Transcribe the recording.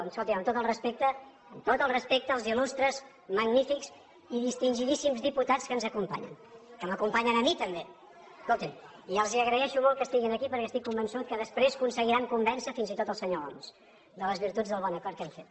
no escoltin amb tot el respecte tot el respecte als il·lustres magnífics i distingidíssims diputats que ens acompanyen que m’acompanyen a mi també escoltin i els agraeixo molt que estiguin aquí perquè estic convençut que després aconseguiran convèncer fins i tot el senyor homs de les virtuts del bon acord que hem fet